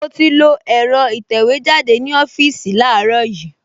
Mo ti lo ẹ̀rọ ìtẹ̀wẹ́jáde ní ọ́fíìsì láàárọ̀ yìí